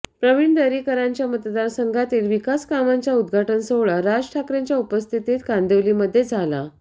प्रवीण दरेकरांच्या मतदारसंघातील विकास कामांच्या उदघाटन सोहळा राज ठाकरेंच्या उपस्थितीत कांदिवलीमध्ये झाला